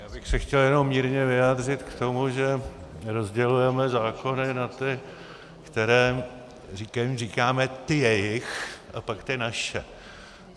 Já bych se chtěl jenom mírně vyjádřit k tomu, že rozdělujeme zákony na ty, kterým říkáme ty jejich, a pak ty naše.